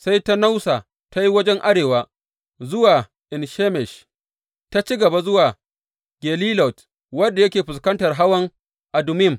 Sai ta nausa ta yi wajen arewa, zuwa En Shemesh, ta ci gaba zuwa Gelilot, wanda yake fuskantar hawan Adummim.